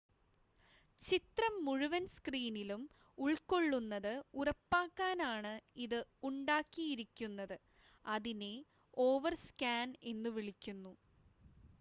ചിത്രം മുഴുവൻ സ്‌ക്രീനിലും ഉൾക്കൊള്ളുന്നത് ഉറപ്പാക്കാനാണ് ഇത് ഉണ്ടാക്കിയിരിക്കുന്നത് അതിനെ ഓവർസ്‌കാൻ എന്നുവിളിക്കുന്നു